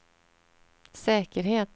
säkerhet